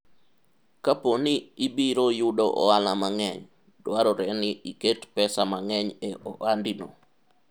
kapo ni ibiro yudo ohala mang'eny',dwarore ni iket pesa mang'eny e ohandi no